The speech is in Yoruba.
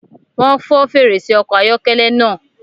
Wọn fọ fèrèsé ọkọ ayọkẹlẹ náà